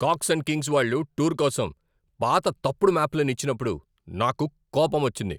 Cox and Kings వాళ్ళు tour కోసం పాత తప్పుడు మ్యాప్లను ఇచ్చినప్పుడు నాకు కోపం వచ్చింది.